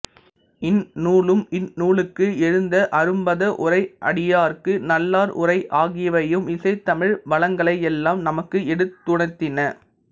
இந்நூலும் இந்நூலுக்கு எழுந்த அரும்பத உரை அடியார்க்கு நல்லார் உரை ஆகியவையும் இசைத்தமிழ் வளங்களையெல்லாம் நமக்கு எடுத்துணர்த்தின